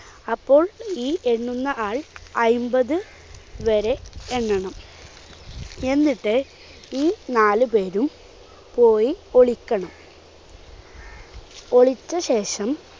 അപ്പോൾ ഈ എണ്ണുന്ന ആൾ അയ്മ്പത് വരെ എണ്ണണം. എന്നിട്ട് ഈ നാലുപേരും പോയി ഒളിക്കണം. ഒളിച്ച ശേഷം